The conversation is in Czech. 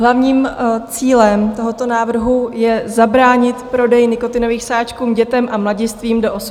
Hlavním cílem tohoto návrhu je zabránit prodeji nikotinových sáčků dětem a mladistvým do 18 let.